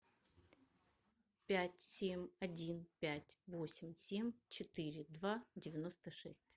пять семь один пять восемь семь четыре два девяносто шесть